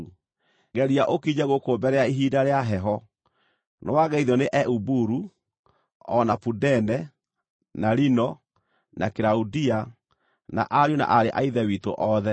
Geria ũkinye gũkũ mbere ya ihinda rĩa heho. Nĩwageithio nĩ Eubulu, o na Pudene, na Lino, na Kilaudia, na ariũ na aarĩ a Ithe witũ othe.